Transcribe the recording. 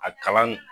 A kalan